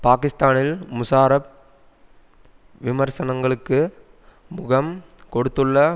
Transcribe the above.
பாகிஸ்தானில் முஷாரப் விமர்சனங்களுக்கு முகம் கொடுத்துள்ள